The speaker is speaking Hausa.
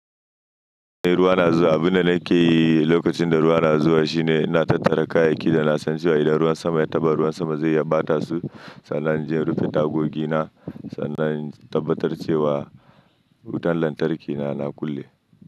Idan ruwa na zuwa, abin da nake yi lokacin da ruwa na zuwa shine ina tattara kayayyaki da na san cewa idan ruwan sama ya taɓa, ruwan sama zai iya ɓata su. Sannan inje in rufe tagogi na sannan in tabbatar cewa wutan lantarki na, na kulle.